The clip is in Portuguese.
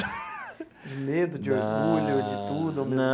De medo, de orgulho, de tudo?